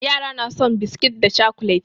Yara na son biskit da cakulet.